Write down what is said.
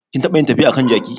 Kin taɓa yin tafiya a kan jaki?